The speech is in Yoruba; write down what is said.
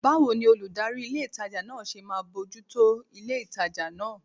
Báwo ni olùdarí ilé ìtajà náà ṣe máa bójú tó ilé ìtajà náà?